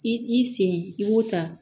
I i sen i b'o ta